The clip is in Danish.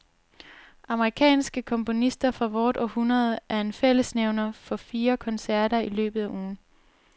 Amerikanske komponister fra vort århundrede er en fællesnævner for fire koncerter i løbet af ugen.